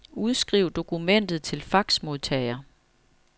Udskriv dokumentet til faxmodtager.